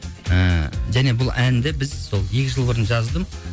ііі және бұл әнді біз сол екі жыл бұрын жаздым